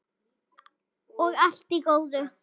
Og allt í góðu.